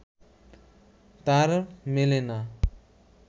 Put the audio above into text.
তার মেলে না